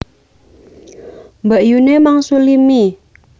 Mbakyune mangsuli mie